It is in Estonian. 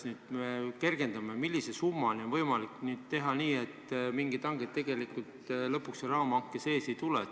Nüüd me kergendame seda, millise summani on võimalik teha nii, et mingisugust hanget tegelikult seal raamhanke sees ei tulegi.